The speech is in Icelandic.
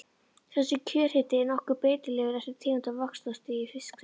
Þessi kjörhiti er nokkuð breytilegur eftir tegund og vaxtarstigi fisksins.